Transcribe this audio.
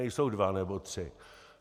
Nejsou dva nebo tři.